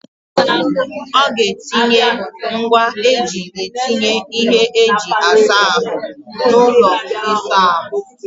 Ọ ga-etinye ngwaa eji etinye ihe eji asa ahụ n'ụlọ ịsa ahụ?